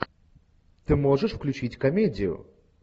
ты можешь включить комедию